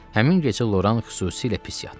Həmin gecə Loran xüsusilə pis yatdı.